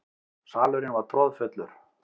Salurinn var troðfullur.